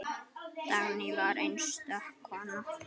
Dagný var einstök kona.